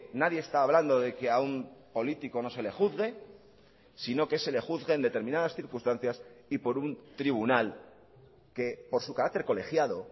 nadie está hablando de que a un político no se le juzgue sino que se le juzgue en determinadas circunstancias y por un tribunal que por su carácter colegiado